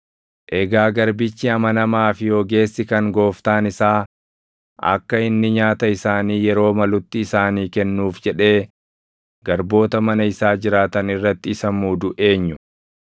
“Egaa garbichi amanamaa fi ogeessi kan gooftaan isaa akka inni nyaata isaanii yeroo malutti isaanii kennuuf jedhee garboota mana isaa jiraatan irratti isa muudu eenyu?